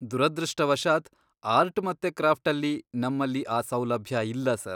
ದುರದೃಷ್ಟವಶಾತ್ ಆರ್ಟ್ ಮತ್ತೆ ಕ್ರಾಫ್ಟಲ್ಲಿ ನಮ್ಮಲ್ಲಿ ಆ ಸೌಲಭ್ಯ ಇಲ್ಲ ಸರ್.